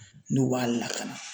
N'u b'a lakana.